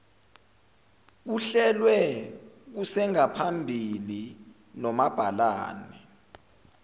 kuhlelwe kusengaphambili nomabhalane